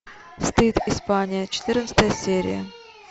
стыд испания четырнадцатая серия